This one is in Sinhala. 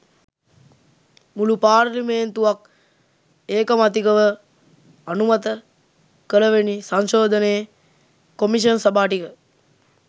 මුළු පාර්ලිමේන්තුවක් ඒකමතිකව අනුමත කළවෙනි සංශෝධනයේ කොමිෂන් සභා ටික